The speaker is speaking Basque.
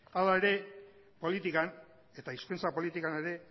hala ere politikan eta hizkuntza politikan ere